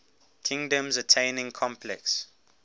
kingdoms attaining complex